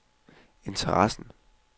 interessen